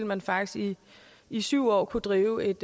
man faktisk i syv år kunne drive et